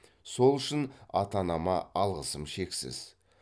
сол үшін ата анама алғысым шексіз